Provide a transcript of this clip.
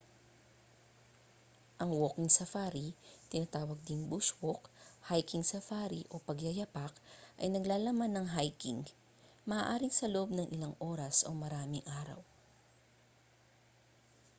ang walking safari tinatawag ding bush walk hiking safari o pagyayapak ay naglalaman ng hiking maaaring sa loob ng ilang oras o maraming araw